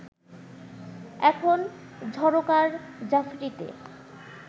এখন ঝরোকার জাফরিতে